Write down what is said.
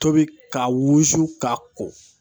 Tobi ka wusu k'a ko.